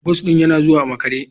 Bus ɗin yana zuwa a makare.